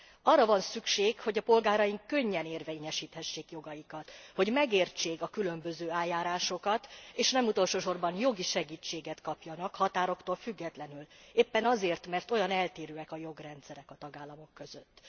Arra van szükség, hogy a polgáraink könnyen érvényesíthessék jogaikat, hogy megértsék a különböző eljárásokat és nem utolsó sorban jogi segítséget kapjanak határoktól függetlenül, éppen azért, mert olyan eltérőek a jogrendszerek a tagállamok között.